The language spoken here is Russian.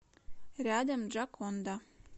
рядом джоконда